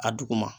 A duguma